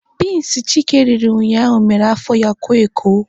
Binsi Chike riri ụnyaahụ mere afọ ya koo eko.